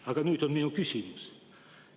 Aga nüüd minu küsimus.